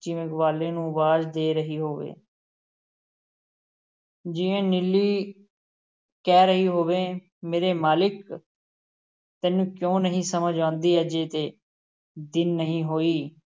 ਜਿਵੇਂ ਗਵਾਲੇ ਨੂੰ ਅਵਾਜ਼ਾਂ ਦੇ ਰਹੀ ਹੋਵੇ ਜਿਵੇ ਨੀਲੀ ਕਹਿ ਰਹੀ ਹੋਵੇ ਮੇਰੇ ਮਾਲਕ ਤੈਨੂੰ ਕਿਉਂ ਨਹੀਂ ਸਮਝ ਆਉਂਦੀ ਅਜੇ ਤੇ ਦਿਨ ਨਹੀਂ ਹੋਏ